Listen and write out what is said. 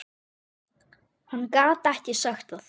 Hann gat ekki sagt það.